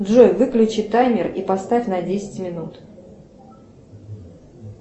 джой выключи таймер и поставь на десять минут